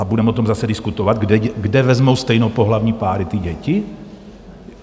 A budeme o tom zase diskutovat - kde vezmou stejnopohlavní páry ty děti?